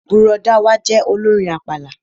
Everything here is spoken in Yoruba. Bùrọ̀dá wa jẹ́ olórin àpàlà